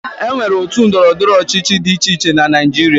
E nwere otu ndọrọndọrọ ọchịchị dị iche iche na Naịjirịa.